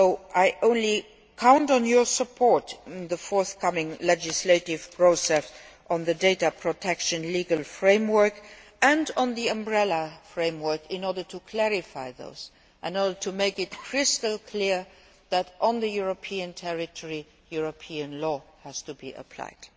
I therefore count on your support in the forthcoming legislative process on the data protection legal framework and on the umbrella framework, in order to clarify these points and in order to make it crystal clear that, on European territory, European law has to be applied.